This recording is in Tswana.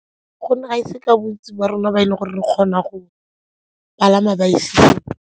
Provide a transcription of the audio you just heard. Gonne ga e se ka bontsi ba rona ba e leng gore re kgona go palama .